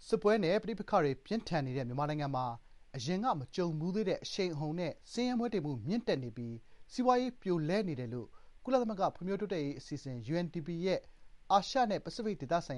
စစ်ပွဲနဲ့ ပဋိပက္ခတွေ ပြင်းထန်နေတဲ့ မြန်မာနိုင်ငံမှာ အရင်က မကြုံဖူးသေးတဲ့ အရှိန်အဟုန်နဲ့ ဆင်းရဲမွဲတေမှု မြင့်တက်နေပြီး စီးပွားရေး ပြိုလဲနေတယ်လို့ ကုလသမဂ္ဂ ဖွံ့ဖြိုးတိုးတက်ရေး အစီအစဉ် (UNDP) ရဲ့ အာရှနဲ့ ပစိဖိတ်ဒေသဆိုင်